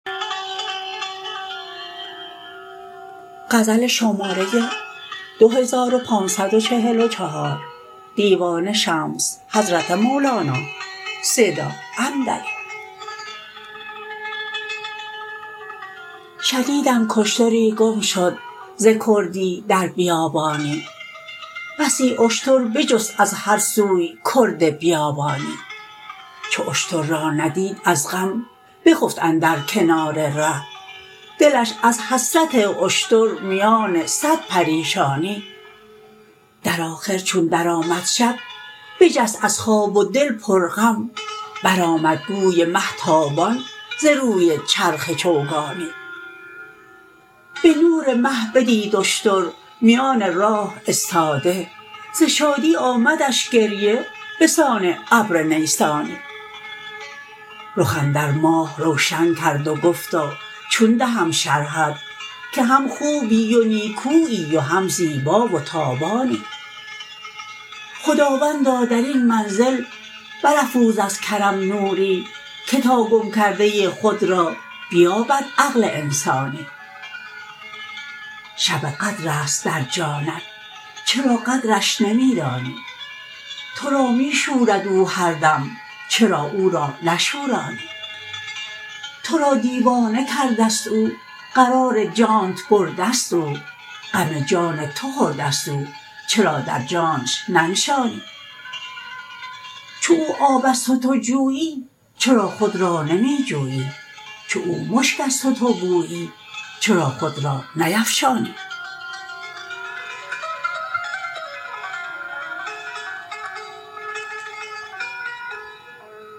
شنیدم کاشتری گم شد ز کردی در بیابانی بسی اشتر بجست از هر سوی کرد بیابانی چو اشتر را ندید از غم بخفت اندر کنار ره دلش از حسرت اشتر میان صد پریشانی در آخر چون درآمد شب بجست از خواب و دل پرغم برآمد گوی مه تابان ز روی چرخ چوگانی به نور مه بدید اشتر میان راه استاده ز شادی آمدش گریه به سان ابر نیسانی رخ اندر ماه روشن کرد و گفتا چون دهم شرحت که هم خوبی و نیکویی و هم زیبا و تابانی خداوندا در این منزل برافروز از کرم نوری که تا گم کرده خود را بیابد عقل انسانی شب قدر است در جانب چرا قدرش نمی دانی تو را می شورد او هر دم چرا او را نشورانی تو را دیوانه کرده ست او قرار جانت برده ست او غم جان تو خورده ست او چرا در جانش ننشانی چو او آب است و تو جویی چرا خود را نمی جویی چو او مشک است و تو بویی چرا خود را نیفشانی